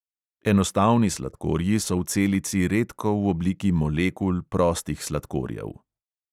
Enostavni sladkorji so v celici redko v obliki molekul prostih sladkorjev.